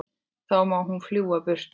Þá má hún fljúga burtu.